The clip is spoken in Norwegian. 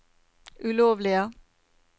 ulovlige